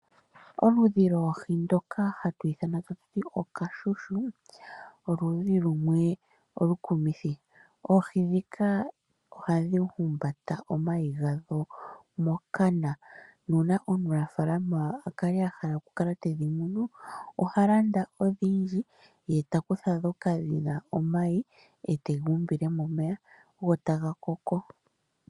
Oludhi lwoohi ndoka hatu ithana ta tuti oKashushu, oludhi lumwe olu kumithi. Oohi ndhika ohadhi humbata omayi gadho mokana, nuuna omunafaalama ahala oku kala tedhi munu, oha landa odhindji, eta kutha ndhoka dhina omayi, etega umbile momeya go taga koko.